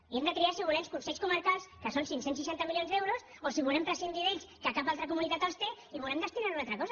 i hem de triar si volem consells comarcals que són cinc cents i seixanta milions d’euros o si volem prescindir d’ells que cap altra comunitat els té i volem destinar ho a una altra cosa